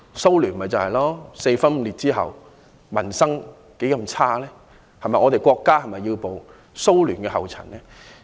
蘇聯四分五裂之後，民生凋敝，我們的國家是否要步蘇聯後塵？